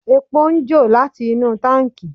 Epo ń jò láti inú táǹkì.